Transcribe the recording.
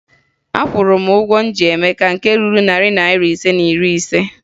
Akwụrụ m ụgwọ m ji Emeka nke ruru narị naịra ise na iri ise